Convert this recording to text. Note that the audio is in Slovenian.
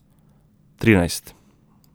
Trinajst.